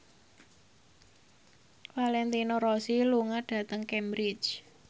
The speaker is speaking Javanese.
Valentino Rossi lunga dhateng Cambridge